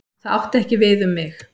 Það átti ekki við um mig.